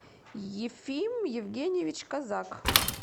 ефим евгеньевич козак